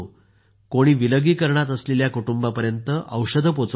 कोणी विलगीकरणात असलेल्या कुटुंबांपर्यंत औषधं पोहोचवत आहेत